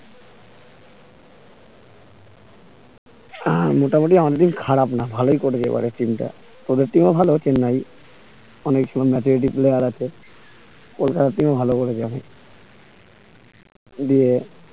আহ মোটামুটি আমাদের team খারাপ না ভালোই করেছে এবারে team টা তোদের team ও ভালো চেন্নাই কোলকাতার team ও ভালো করেছে এখন দিয়ে